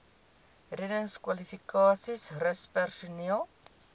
reddingskwalifikasies rus personeel